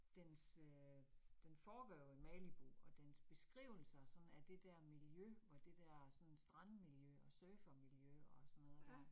Dens øh den foregår jo i Malibu, og dens beskrivelser sådan af det der miljø, hvor det der sådan strandmiljø og surfermiljø og sådan noget der